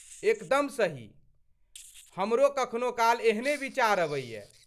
एकदम सही, हमरो कखनो काल एहने विचार अबैए।